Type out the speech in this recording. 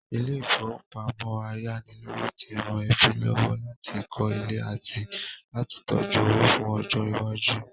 Ilé-ìfowópamọ ayánilówó ti ran ẹbí lọ́wọ́ láti kọ́ ilé àti láti tójú owó fún ọjọ́ iwájú.